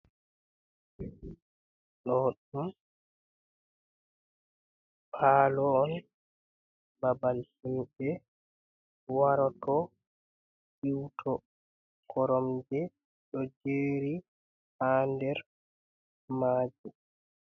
Ɗo ɗum palo on, babal himɓe waroto siuto, koromje ɗo jeri ha nder majum.